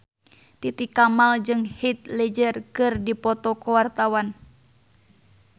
Titi Kamal jeung Heath Ledger keur dipoto ku wartawan